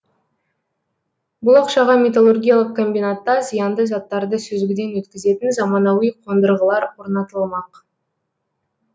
бұл ақшаға металлургиялық комбинатта зиянды заттарды сүзгіден өткізетін заманауи қондырғылар орнатылмақ